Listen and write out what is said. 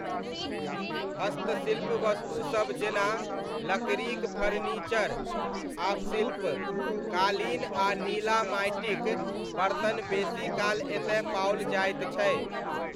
हस्तशिल्प वस्तुसब जेना लकड़ीक फर्नीचर आ शिल्प, कालीन आ नीला माँटिक बर्तन बेसीकाल एतय पाओल जाइत छै।